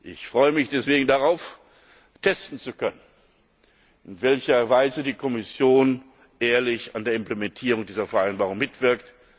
Ich freue mich deswegen darauf, testen zu können, in welcher Weise die Kommission ehrlich an der Implementierung dieser Vereinbarung mitwirkt.